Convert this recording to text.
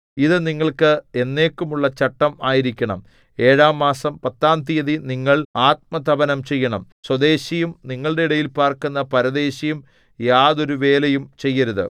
ഇതു നിങ്ങൾക്ക് എന്നേക്കുമുള്ള ചട്ടം ആയിരിക്കണം ഏഴാം മാസം പത്താം തീയതി നിങ്ങൾ ആത്മതപനം ചെയ്യണം സ്വദേശിയും നിങ്ങളുടെ ഇടയിൽ പാർക്കുന്ന പരദേശിയും യാതൊരുവേലയും ചെയ്യരുത്